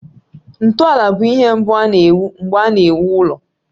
Ntọala bụ ihe mbụ a na-ewu mgbe a na-ewu ụlọ.